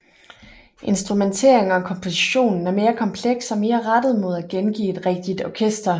Instrumentering og kompositionen er mere kompleks og mere rettet mod at gengive et rigtig orkester